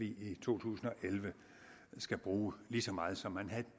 i to tusind og elleve skal bruge lige så meget som man havde